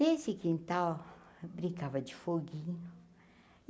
Desse quintal, brincava de foguinho.